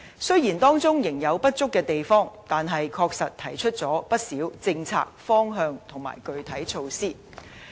雖然當中仍有不足的地方，但確實提出了不少政策方向和具體措施。